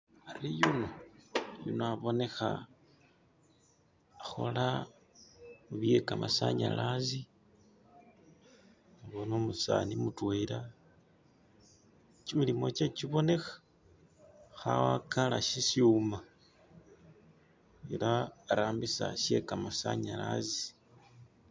ari yuno abonekha ahola mubyekamasanyalazi umusani mutwela kyimilimu kyewe kyibonekha hawakala shishuma ela arambisa shekamasanyalazi